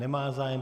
Nemá zájem.